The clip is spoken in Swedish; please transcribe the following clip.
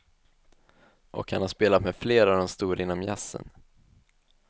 Och han har spelat med flera av de stora inom jazzen.